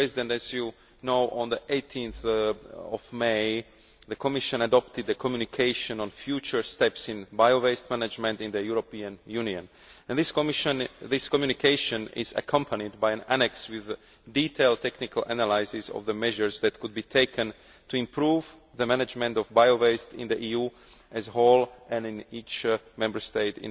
As you know, on 18 May, the Commission adopted the communication on future steps in bio waste management in the European Union. This communication is accompanied by an annex with a detailed technical analysis of the measures that could be taken to improve the management of bio waste in the EU as a whole and in each Member State